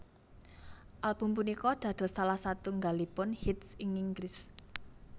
Album punika dados salah satunggalipun hits ing Inggris